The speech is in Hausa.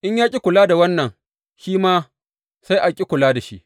In ya ƙi kula da wannan, shi ma sai a ƙi kula da shi.